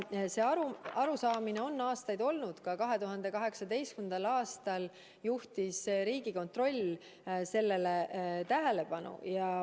See arusaamine on aastaid olnud, ka 2018. aastal juhtis Riigikontroll sellele tähelepanu.